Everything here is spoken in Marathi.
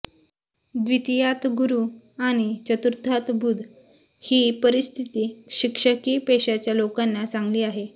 द्वितीयात गुरु आणि चतुर्थात बुध ही परिस्थिती शिक्षकी पेशाच्या लोकांना चांगली आहे